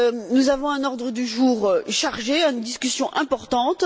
Nous avons un ordre du jour chargé en discussions importantes.